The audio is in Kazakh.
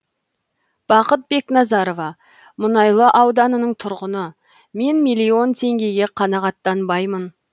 бақыт бекназарова мұнайлы ауданының тұрғыны мен миллион теңгеге қанағаттанбаймын